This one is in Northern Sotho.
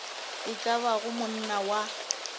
e ka bago monna wa